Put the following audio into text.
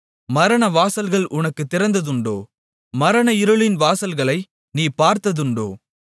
மரணவாசல்கள் உனக்குத் திறந்ததுண்டோ மரண இருளின் வாசல்களை நீ பார்த்ததுண்டோ